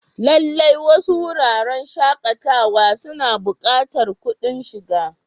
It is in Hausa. Lallai, wasu wuraren shakatawa suna buƙatar kuɗin shiga.